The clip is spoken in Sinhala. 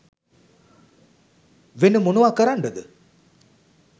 වෙන මොනවා කරන්ඩද?